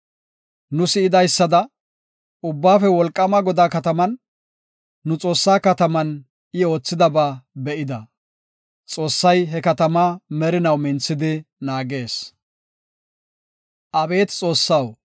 Nu si7idaysada, Ubbaafe Wolqaama Godaa kataman, nu Xoossaa kataman I oothidaba be7ida; Xoossay he katamaa merinaw minthidi naagees. Salaha